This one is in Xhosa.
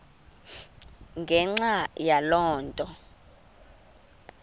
ngenxa yaloo nto